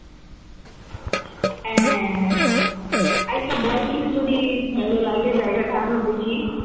হ্যাঁ হ্যাঁ হ্যাঁ আর বল কিছু যদি ভালো লাগে জায়গাটা আরও বেশি